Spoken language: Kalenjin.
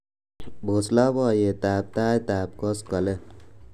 pos loboiyet ab tait ab koskolen